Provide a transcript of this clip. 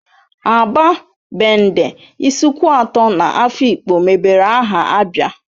Aba, Bende, Isuikwuato na Afikpo mebere aha ABIA